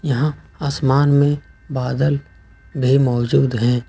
यहां आसमान में बादल भी मौजूद हैं।